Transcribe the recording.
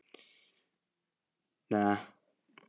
Allir voru svo meðvitaðir um brunavarnir um áramótin.